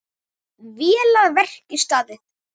Vel að verki staðið!